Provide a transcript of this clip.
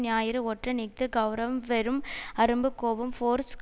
ஞாயிறு ஒற்றன் இஃது கெளரவம் வெறும் அரும்பு கோபம் ஃபோர்ஸ்